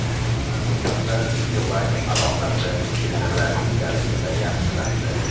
Andijonda Beeline aloqasi sezilarli darajada yaxshilandi.